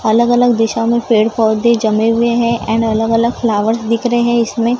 अलग-अलग दिशा में पेड़-पौधे जमे हुए हैं एंड अलग-अलग फ्लावर्स दिख रहे हैं इसमें।